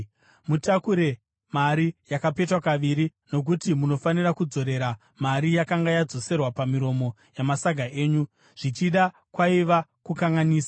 Mutakure mari yakapetwa kaviri, nokuti munofanira kudzorera mari yakanga yadzoserwa pamiromo yamasaga enyu. Zvichida kwaiva kukanganisa.